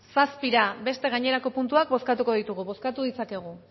zazpira beste gainerako puntuak bozkatuko ditugu bozkatu ditzakegu